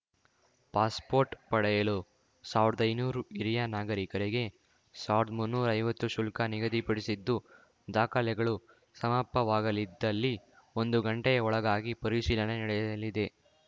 passport ಪಡೆಯಲು ಸಾವ್ರ್ದೈನೂರು ಹಿರಿಯ ನಾಗರಿಕರಿಗೆ ರುಸಾವ್ರ್ದು ಮುನ್ನೂರೈವತ್ತು ಶುಲ್ಕ ನಿಗದಿಪಡಿಸಿದ್ದು ದಾಖಲೆಗಳು ಸಮಪವಾಗಲಿದ್ದಲ್ಲಿ ಒಂದು ಗಂಟೆಯ ಒಳಗಾಗಿ ಪರಿಶೀಲನೆ ನಡೆಯಲಿದೆ